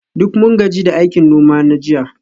Duk mun gaji da aikin noma na jiya